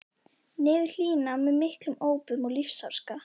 niður hlíðina með miklum ópum og lífsháska.